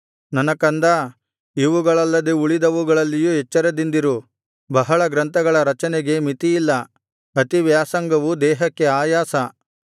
ನನ್ನ ಕಂದಾ ಇವುಗಳಲ್ಲದೆ ಉಳಿದವುಗಳಲ್ಲಿಯೂ ಎಚ್ಚರದಿಂದಿರು ಬಹಳ ಗ್ರಂಥಗಳ ರಚನೆಗೆ ಮಿತಿಯಿಲ್ಲ ಅತಿವ್ಯಾಸಂಗವು ದೇಹಕ್ಕೆ ಆಯಾಸ